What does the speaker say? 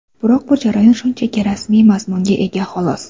Biroq bu jarayon shunchaki rasmiy mazmunga ega, xolos.